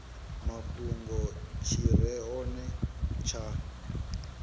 mafhungo tshi re hone tsha